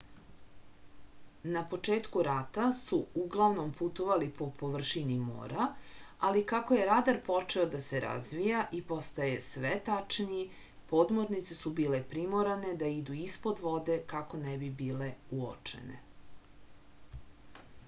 na početku rata su uglavnom putovali po površini mora ali kako je radar počeo da se razvija i postaje sve tačniji podmornice su bile primorane da idu ispod vode kako ne bi bile uočene